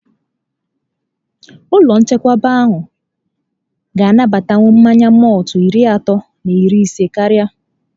Ụlọ nchekwaba ahụ ga anabata mmanya mọltụ iri atọ na iri isé karịa